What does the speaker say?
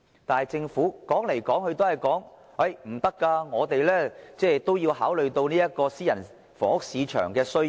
但是，政府說來說去都說不可以，說他們也要考慮私人房屋市場的需要。